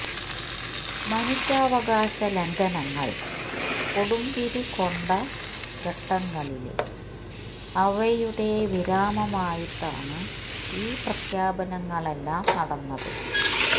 മനുഷ്യാവകാശ ലംഘനങ്ങള് കൊടുമ്പിരിക്കൊണ്ട ഘട്ടങ്ങളില് അവയുടെ വിരാമമായിട്ടാണ് ഈ പ്രഖ്യാപനങ്ങളെല്ലാം നടന്നത്